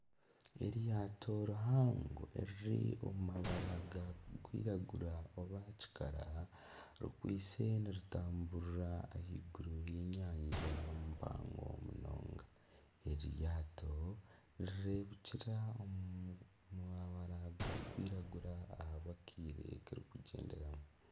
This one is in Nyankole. Eryato rihango eriri omu mabara garikwiragura oba kikara rikwaitse niritamburira ahaiguru y'enyanja mpango munonga, eri ryato nirirebekyera omu mabara garikwiragura ahabwa akiire kirikugyenderamu.